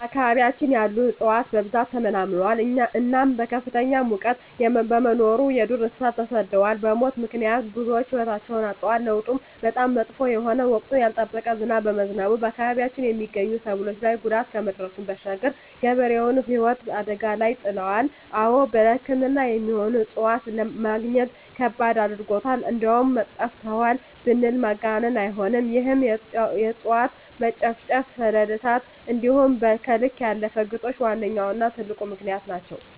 በአካባቢያችን ያሉ እፅዋት በብዛት ተመናምነዋል እናም ከፍተኛ ሙቀት በመኖሩ የዱር እንሰሳት ተሰደዋል በሙት ምክንያት ብዙወች ህይወታቸዉን አጠዋል። ለዉጡም በጣም መጥፎ የሆነ ወቅቱን ያልጠበቀ ዝናብ በመዝነቡ በአካባቢያችን የመገኙ ሰብሎች ላይ ጉዳት ከማድረሱም ባሻገር የገበሬዉን ህይወት አደጋ ላይ ይጥላል። አወ ለሕክምና የሚሆኑ እፅዋትን መግኘት ከባድ አድርጎታል እንደዉም ጠፍተዋል ብንል ማጋነን አይሆንም ይህም የእፅዋት መጨፍጨፍ፣ ሰደድ እሳት እንዲሆም ከልክ ያለፈ ግጦሽ ዋነኛዉና ትልቁ ምክንያት ናቸዉ።